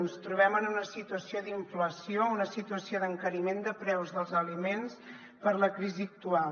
ens trobem en una situació d’inflació una situació d’encariment de preus dels aliments per la crisi actual